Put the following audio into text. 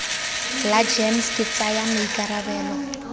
la gems ke tsaya maikarabelo